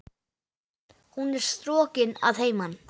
Hún er strokin að heiman.